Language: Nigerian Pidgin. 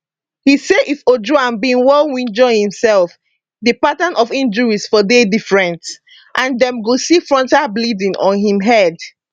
e say if ojwang bin wunjure imsef di pattern of injuries for dey different and dem go see frontal bleeding on im head